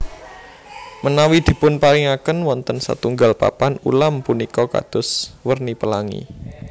Menawi dipunparingaken wonten satunggal papan ulam punika kados werni pelangi